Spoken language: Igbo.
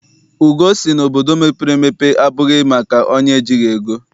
Ugoo sị na obodo mepere emepe abụghị maka onye ejighị ego.